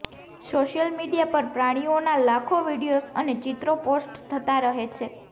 social media પર પ્રાણીઓના લાખો વીડિયોઝ અને ચિત્રો પોસ્ટ થતા રહે છે